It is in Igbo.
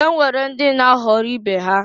E nwere ndị na-aghọrị ibe ha.